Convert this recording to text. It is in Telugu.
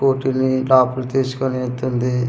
కూర్చొని టాపులు తీసుకొని వెళ్తుంది .]